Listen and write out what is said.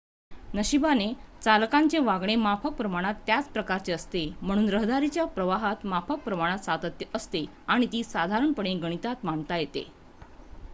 नशिबाने चालकांचे वागणे माफक प्रमाणात त्याच प्रकारचे असते म्हणून रहदारीच्या प्रवाहात माफक प्रमाणात सातत्य असते आणि ती साधारणपणे गणितात मांडता येते